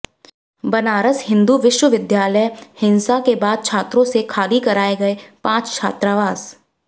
बनारस हिंदू विश्वविद्यालयः हिंसा के बाद छात्रों से खाली कराए गए पांच छात्रावास